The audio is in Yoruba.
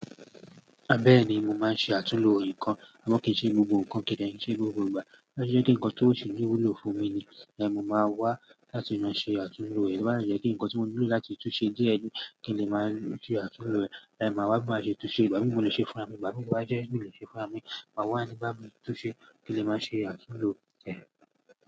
Bẹ́ẹ̀ni mo máa ń ṣe àtúlo nǹkan. Ṣùgbọ́n kìí ṣe gbogbo nǹkan kì í n dé n ṣe gbogbo ìgbà. Bí e ṣe jẹ́ kí ǹkan tósì wù ló fún mi ni, ẹ̀hn mó máa wá láti máa ṣe àtúlo ẹ̀. Bá yá n jẹ́ kí ǹkan tí mò ńilò láti túnsẹ díẹ̀ kín lè ṣe àtúlo ẹ̀, máa wá maà ṣe túnṣe. Ìgbà mímù mo lè ṣe fúnramì, ìgbà mímù bá jẹ́ nǹkan tí ò ṣe fún àmì, màá wá nígbà mímù túnṣe kí lè máa ṣe àtúlo ẹ̀.